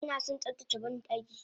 Anason tsaftace bandaki